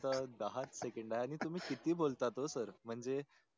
फक्त दहाच सेकंड आहे आणि तुम्ही कीती बोलतात ओ सर म्हणजे